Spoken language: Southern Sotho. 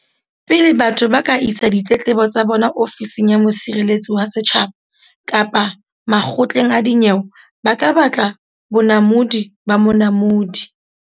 Pele batho ba ka isa ditletlebo tsa bona Ofising ya Mosireletsi wa Setjhaba kapa makgotleng a dinyewe ba ka batla bonamodi ba Monamodi.